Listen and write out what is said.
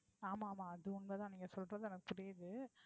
ஆமா ஆமா அது உண்மை தான் நீங்க சொல்றது எனக்கு புரியுது